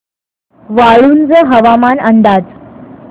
वाळूंज हवामान अंदाज